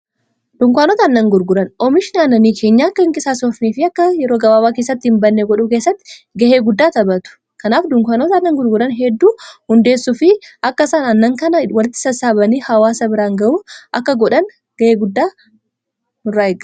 Dunkaanota aannan gurguran oomisha aannanii keenyaa akka hinqisaasofnef akka yeroo gabaabaa keessatti hin bannee godhuu keessatti ga'ee guddaa taphatu. kanaaf dunkaanota aannan gurguran hedduu hundeessuu fi akka isan annan kana walitti sassaabanii hawaasa biraan ga'uu akka godhan ga'ee guddaa qaba.